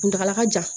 Kuntagala ka jan